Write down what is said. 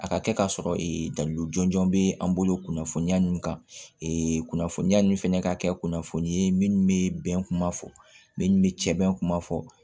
A ka kɛ ka sɔrɔ ee dalu jɔnjɔn bɛ an bolo kunnafoniya ninnu kan kunnafoniya ninnu fɛnɛ ka kɛ kunnafoni ye minnu bɛ bɛn kuma fɔ minnu bɛ sɛbɛn kuma fɔ